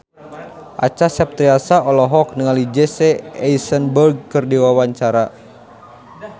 Acha Septriasa olohok ningali Jesse Eisenberg keur diwawancara